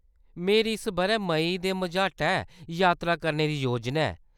मेरी इस बʼरै मेई दे मझाटै यात्रा करने दी योजना ऐ।